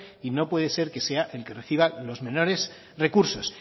y no puede ser que sea el que reciba los menores recursos